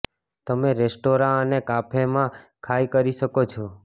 તમે રેસ્ટોરાં અને કાફે માં ખાય કરી શકો છો